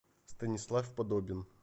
станислав подобин